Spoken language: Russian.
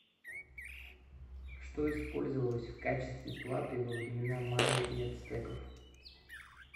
что использовалось в качестве платы во времена майя и ацтеков